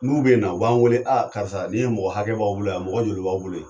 N'u be na u b'an weele a karisa ni mɔgɔ hakɛ b'an bolo yan? mɔgɔ joli b'aw bolo yen?